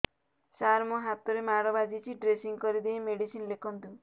ସାର ମୋ ହାତରେ ମାଡ଼ ବାଜିଛି ଡ୍ରେସିଂ କରିଦେଇ ମେଡିସିନ ଲେଖନ୍ତୁ